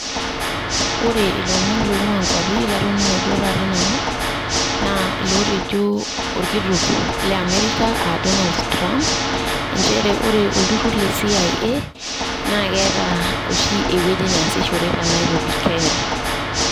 Ore ilomon loing'ua inkwapi latoning'o duo taata nanu, naa lootejo orkitok le Amerika aa Donald Trump, injere ore olturrur le CIA na keeta oshi ewueji neasishori te Nairobi, Kenya.